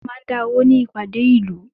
Wọ́n máa ń dá owó ní ìpàdé ìlú.